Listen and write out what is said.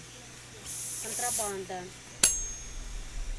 контрабанда